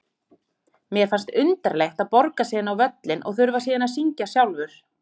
Mér fannst undarlegt að borga sig inn á völlinn og þurfa síðan að syngja sjálfur.